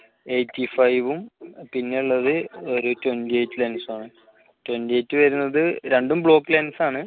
eighty five ഉം പിന്നെ ഉള്ളത് ഒരു twenty eight lense മാണ്. twenty eight വരുന്നത് രണ്ടും bluck lense ആണ്.